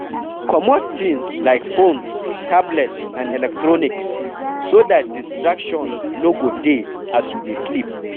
comot things like phones, tablet and electronics so dat distraction no go dey as you dey sleep